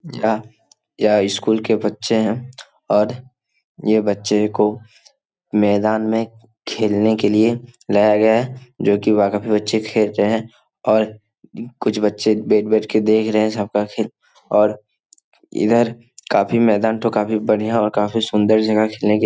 यह यह स्कूल के बच्चे है और ये बच्चे को मैदान में खेलने के लिए लाया गया है जो की वहां पे काफी बच्चे खेल रहे है और कुछ बच्चे बैठ-बैठ के देख रहे है सब का खेल और इधर काफी मैदान तो काफी बढ़िया और काफी सुंदर जगह है खेलने के --